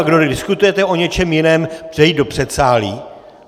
A kdo diskutujete o něčem jiném, přejít do předsálí!